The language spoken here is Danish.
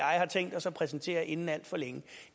og jeg har tænkt os at præsentere inden alt for længe